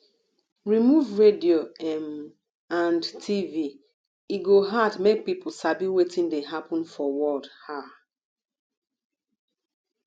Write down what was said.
remove radio um and tv e go hard make people sabi wetin dey happen for world um